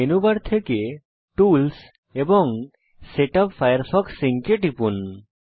menu bar থেকে tools এবং setup Firefox sync এ টিপুন